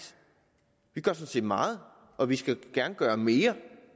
vi gør sådan set meget og vi skal gerne gøre mere